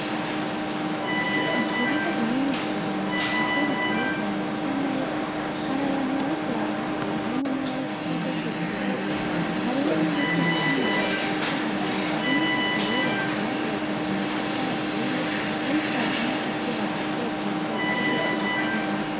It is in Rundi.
Ikibuga kinini cane, ciza giteye igomwe gisa neza, hari abantu bariko barahaca, harimwo n'abahetse isakoshi zirabura; hariho n'ibiti bifise amababi atotahaye, hari n'inzu zihubatse bakoresheje amatafari aturiye, hariko haka n'akazuba gake gake hari igicu gisa neza.